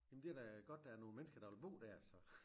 Jamen det da godt der er nogle mennesker der vil bo der så